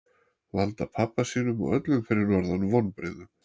Valda pabba sínum og öllum fyrir norðan vonbrigðum.